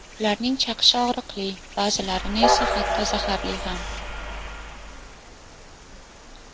Ularning chaqishi og‘riqli, ba’zilarini esa hatto zaharli ham.